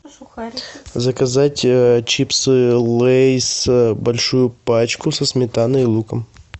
заказать чипсы лейс большую пачку со сметаной и луком